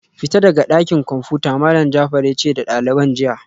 Fita daga dakin komfuta Malam Jafar yace da daliban jiya